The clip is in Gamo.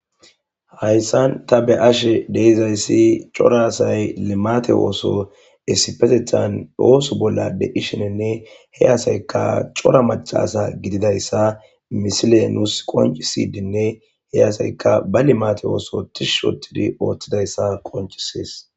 hayssan ta be ashe deizayssi cora asay limate ooso esipetethan ooso bolla deishinenne he asayka cora macasa gididayssa misilenus qoncisidinne he asayka ba limate ooso tishs oottidi ooththidayssa qoncisees